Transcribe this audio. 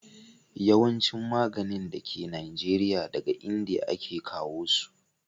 yawancin maganin da ke najeriya, daga indiya a ke kawo su